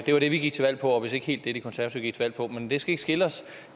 var det vi gik til valg på og vist ikke helt det de konservative gik til valg på men det skal ikke skille os